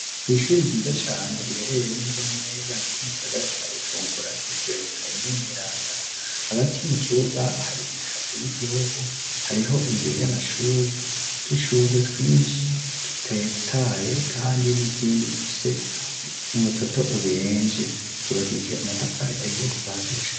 Kw'ishuri ryiza cane riherereye neza neza hagati mu gisagara ca Bujumbura ryitiriwe Mikayeri mweranda hagati mu kibuga hari idarapo ry'igihugu hariho imbere y'amashuri udushurwe twishi dutetaye kandi n'izindi zifise umutoto ubenje ryubakishije amatafari ahiye kuva hasi